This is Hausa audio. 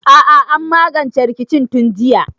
A'a an magance rikicin tun jiya